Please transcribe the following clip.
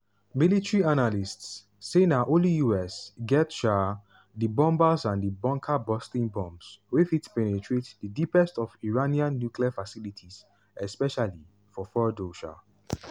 military analysts say na only us get um di bombers and bunker-busting bombs wey fit penetrate di deepest of iranian nuclear facilities especially for fordow. um